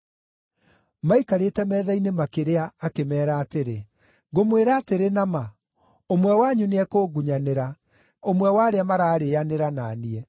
Maikarĩte metha-inĩ makĩrĩa akĩmeera atĩrĩ, “Ngũmwĩra atĩrĩ na ma, ũmwe wanyu nĩekũngunyanĩra, ũmwe wa arĩa mararĩĩanĩra na niĩ.”